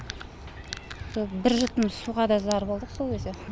бір жұтым суға да зар болдық сол кезде